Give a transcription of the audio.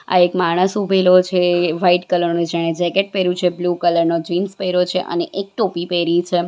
આ એક માણસ ઊભેલો છે વ્હાઈટ કલર નો જેણે જેકેટ પેર્યું છે બ્લુ કલર નો જીન્સ પેર્યો છે અને એક ટોપી પહેરી છે.